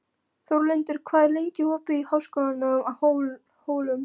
Þórlindur, hvað er lengi opið í Háskólanum á Hólum?